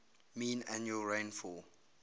mean annual rainfall